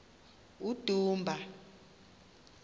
udumba